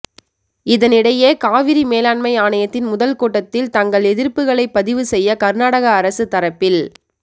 இதனிடையே காவிரி மேலாண்மை ஆணையத்தின் முதல் கூட்டத்தில் தங்கள் எதிர்ப்புகளைப் பதிவு செய்ய கர்நாடக அரசு தரப்பில்